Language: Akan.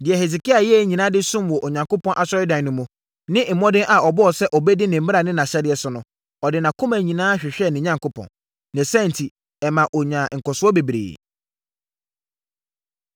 Deɛ Hesekia yɛeɛ nyinaa de som wɔ Onyankopɔn Asɔredan no mu, ne mmɔden a ɔbɔɔ sɛ ɔbɛdi ne mmara ne nʼahyɛdeɛ so no, ɔde nʼakoma nyinaa hwehwɛɛ ne Onyankopɔn. Ne saa enti, ɛmaa ɔnyaa nkɔsoɔ bebree.